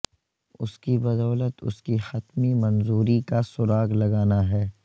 اس کی بدولت اس کی حتمی منظوری کا سراغ لگانا ہے